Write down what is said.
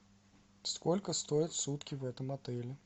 сколько стоят сутки в этом отеле